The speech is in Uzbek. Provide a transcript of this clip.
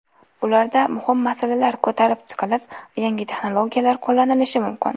Ularda muhim masalalar ko‘tarib chiqilib, yangi texnologiyalar qo‘llanilishi mumkin.